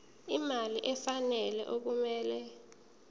imali efanele okumele